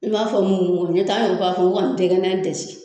I b'a fɔ mugu mugu n'o tɛ an yɛrɛ b'a fɔ ko ka dɛgɛnnan dasi